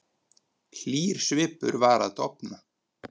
Hlýr svipur var að dofna.